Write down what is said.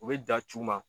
U bɛ da c'u ma